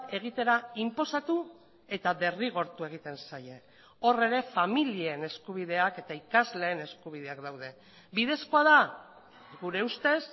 egitera inposatu eta derrigortu egiten zaie hor ere familien eskubideak eta ikasleen eskubideak daude bidezkoa da gure ustez